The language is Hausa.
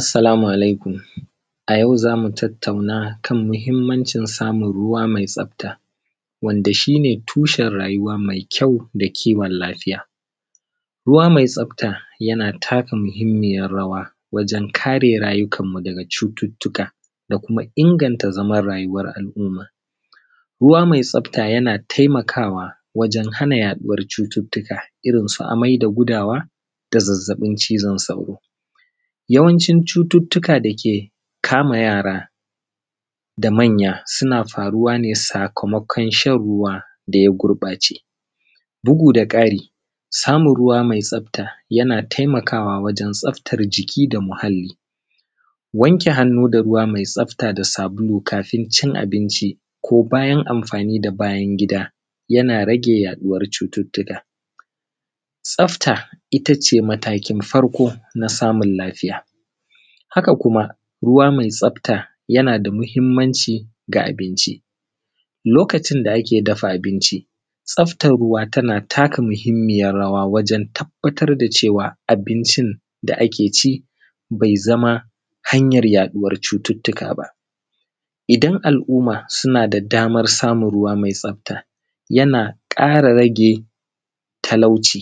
assalamu alaikum a yau za mu tattauna kan muhimmancin samun ruwa mai tsafta wanda shine tushen rayuwa mai kyau da kiwan lafiya ruwa mai tsafta yana taka muhimmiyar rawa wajan kare rayukan mu daga cututtuka da kuma inganta zaman rayuwar al’umma ruwa mai tsafta yana taimakawa wajan hana yaɗuwar cututtuka irin su amai da gudawa da zazzaɓin cizon sauro yawanci cututtuka da ke kama yara da manya suna faruwa ne sakamakon shan ruwa da ya gurɓace bugu da ƙari samun ruwa mai tsafta yana taimakawa wajan tsaftar jiki da muhalli wanke hannu da ruwa mai tsafta da sabulu kafin cin abinci ko bayan amfani da bayan gida yana rage yaɗuwar cututtuka tsafta itace matakin farko na samun lafiya haka kuma ruwa mai tsafta yana da muhimmanci ga abinci lokacin da aka dafa abinci tsaftan ruwa tana taka muhimmiyar rawa wajan tabbatar da cewa abincin da a ke ci bai zama hanyar yaɗuwar cututtuka ba idan al’umma suna da daman samun ruwa mai tsafta yana kara rage talauci